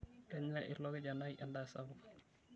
Kenya ilo kijanai endaa sapuk.